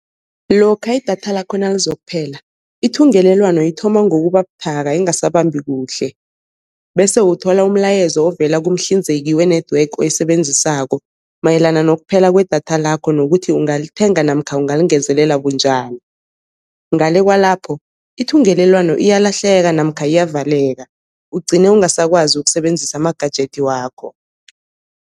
Lokha idatha lakho nalizokuphela ithungelelwano ithoma ngokubabuthaka ingasabambi kuhle, bese uthola umlayezo ovela kumhlinzeki we-network oyisebenzisako, mayelana nokuphela kwedatha lakho nokuthi ungalithenga namkha ungalingezelela bunjani. Ngale kwalapho ithungelelwano iyalahleka namkha iyavaleka ugcine ungasakwazi ukusebenzisa ama-gadget wakho.